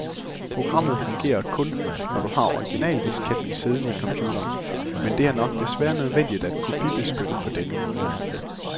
Programmet fungerer kun, når du har originaldisketten siddende i computeren, men det er nok desværre nødvendigt at kopibeskytte på denne måde.